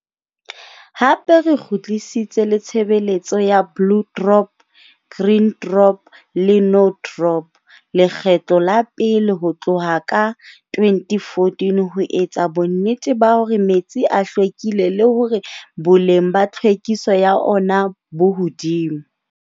Hape re kgutlisitse le tshebeletso ya Blue Drop, Green Drop le No Drop lekgetlo la pele ho tloha ka 2014 ho etsa bonnete ba hore metsi a hlwekile le hore boleng ba tlhwekiso ya ona bo hodimo.